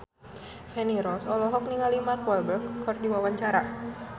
Feni Rose olohok ningali Mark Walberg keur diwawancara